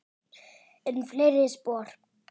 Enn fleiri spor.